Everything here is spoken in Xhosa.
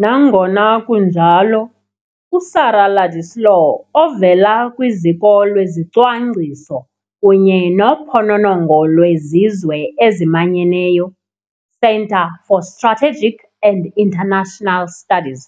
Nangona kunjalo, uSarah Ladislaw ovela kwiZiko lweZicwangciso kunye noPhononongo lweZizwe eziManyeneyo, Centre for Strategic and international Studies,